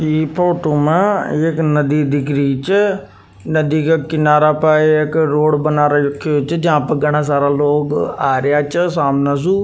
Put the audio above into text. इ फोटो में एक नदी दिख रही छ नदी का किनारा पर एक रोड बना रही छ जहां पर घना सारा लोग आ रिया छ सामन सु।